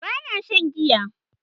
ba na shan giya